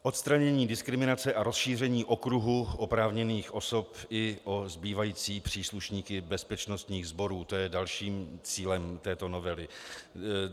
Odstranění diskriminace a rozšíření okruhu oprávněných osob i o zbývající příslušníky bezpečnostních sborů, to je dalším cílem této novely.